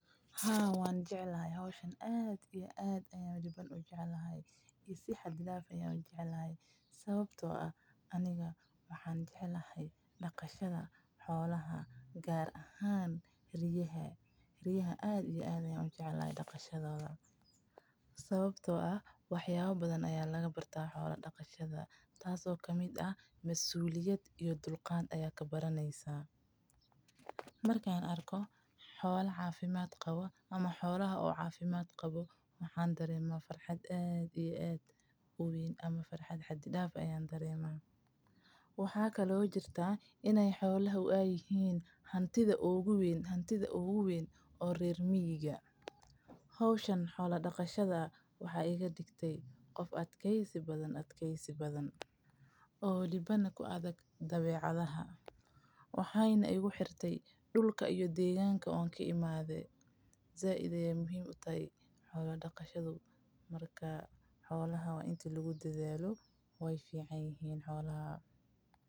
Haa waan jeclahay howshan aniga waxaan jeclahay daqashada xolaha gaar ahaan ariga sababaha oo ah wax badan ayaa laga bartaa masuuliyad ayaa kabaraneysa waan farxaa markaan arko waxaay iga digtaa qof adkeysi badan oo karti badan waxeyna igu xirte dulka aan kaimaade.